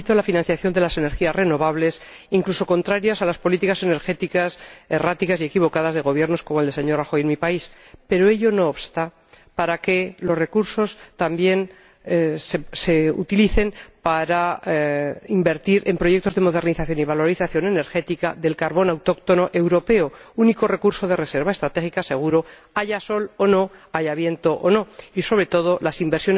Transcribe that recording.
Me felicito por la financiación de las energías renovables, en contradicción con las políticas energéticas erráticas y equivocadas de gobiernos como el del señor Rajoy en mi país, pero ello no obsta para que los recursos también se utilicen para invertir en proyectos de modernización y valorización energética del carbón autóctono europeo, único recurso de reserva estratégica seguro, haya sol o no, haya viento o no, y sobre todo en